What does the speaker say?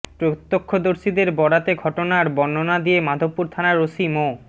প্রত্যক্ষদর্শীদের বরাতে ঘটনার বর্ণনা দিয়ে মাধবপুর থানার ওসি মো